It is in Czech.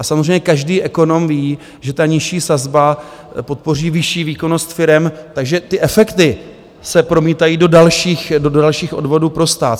A samozřejmě každý ekonom ví, že ta nižší sazba podpoří vyšší výkonnost firem, takže ty efekty se promítají do dalších odvodů pro stát.